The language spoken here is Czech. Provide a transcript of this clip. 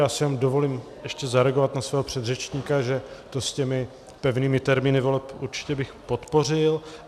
Já si jen dovolím ještě zareagovat na svého předřečníka, že to s těmi pevnými termíny voleb určitě bych podpořil.